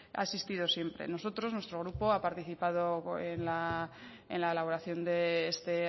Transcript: ha existido siempre nosotros nuestro grupo ha participado en la elaboración de este